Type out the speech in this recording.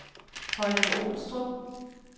Holme-Olstrup